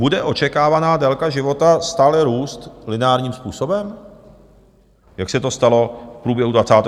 Bude očekávaná délka života stále růst lineárním způsobem, Jak se to stalo v průběhu 20. století?